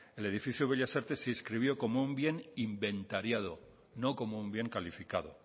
el edificio bellas artes se inscribió como un bien inventariado no como un bien calificado